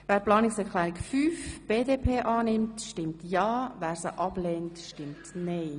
Wer Planungserklärung 7 annehmen will, stimmt ja, wer sie ablehnt, stimmt nein.